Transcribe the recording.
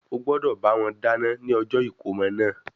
Ó gbọ́dọ̀ bá wọn dáná ní ọjọ́ ìkómọ náà.